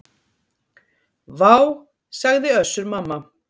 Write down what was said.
Vá, sagði Össur-Mamma.